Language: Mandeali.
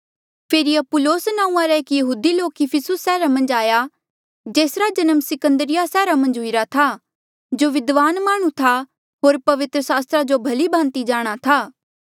फेरी Apollos नांऊँआं रा एक यहूदी लोक इफिसुस सैहरा मन्झ आया जेसरा जन्म सिकंदरिया सैहरा मन्झ हुईरा था जो विद्वान माह्णुं था होर पवित्र सास्त्रा जो भली भांति जाणहां था